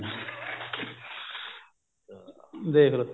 ਦੇਖਲੋ